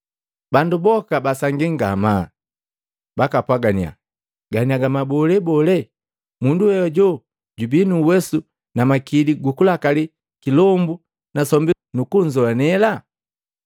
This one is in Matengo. Bandu boka basangii ngamaa, bakapwagannya, “Ganiaga mabolee bole? Mundu we hoju jubii nu uwesu na makili gukulakali, kilombu na sombi nukunzoanela.”